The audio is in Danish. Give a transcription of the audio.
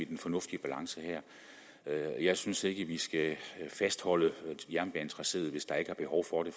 den fornuftige balance jeg synes ikke vi skal fastholde jernbanetraceet hvis der ikke er behov for det